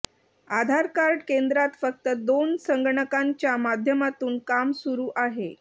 आधारकार्ड केंद्रात फक्त दोन संगणकांच्या माध्यमातून काम सूरु आहे